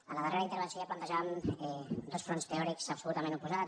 a la darrera intervenció ja plantejàvem dos fronts teòrics absolutament oposats